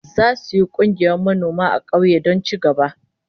Zasu yi kungiyar manoma a kauyen don ci gaba